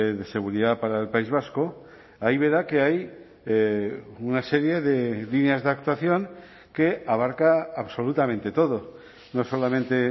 de seguridad para el país vasco ahí verá que hay una serie de líneas de actuación que abarca absolutamente todo no solamente